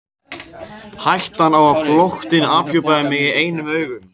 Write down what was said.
Hættan á að flóttinn afhjúpaði mig í eigin augum.